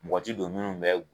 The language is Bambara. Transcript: Mɔgɔ ti don munnu bɛ